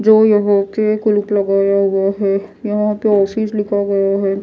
जो यहां पे लगाया गया है यहां पे लिखा गया है।